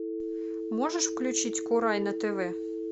можешь включить курай на тв